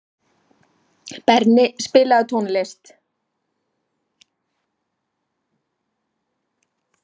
Berni, spilaðu tónlist.